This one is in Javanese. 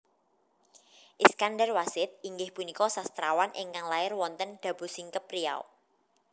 Iskandarwassid inggih punika sastrawan ingkang lair wonten Dabosingkep Riau